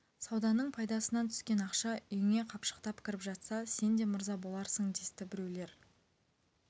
сауданың пайдасынан түскен ақша үйіңе қапшықтап кіріп жатса сен де мырза боларсың десті біреулер